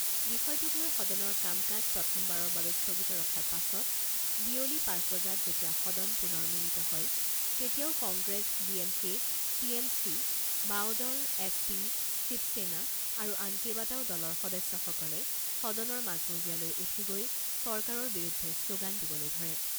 বিষয়টোক লৈ সদনৰ কাম কাজ প্ৰথমবাৰৰ বাবে স্থগিত ৰখাৰ পাছত বিয়লি পাঁচ বজাত যেতিয়া সদন পুনৰ মিলিত হয় তেতিয়াও Congress, D M K, T M C, বাওঁদল, এছ পি, শিৱসেনা আৰু আন কেইবাটাও দলৰ সদস্যসকলে সদনৰ মাজমজিয়ালৈ উঠি গৈ চৰকাৰৰ বিৰুদ্ধে শ্লোগান দিবলৈ ধৰে।